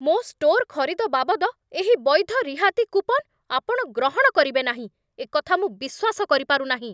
ମୋ' ଷ୍ଟୋର୍ ଖରିଦ ବାବଦ ଏହି ବୈଧ ରିହାତି କୁପନ୍ ଆପଣ ଗ୍ରହଣ କରିବେ ନାହିଁ, ଏକଥା ମୁଁ ବିଶ୍ୱାସ କରିପାରୁନାହିଁ।